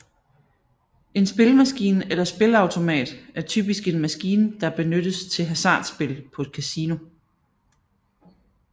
En spillemaskine eller spilleautomat er typisk en maskine der benyttes til hasardspil på et kasino